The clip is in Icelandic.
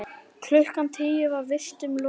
Klukkan tíu var vistum lokað.